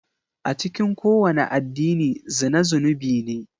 A cikin kowane addini zina zunubi ne.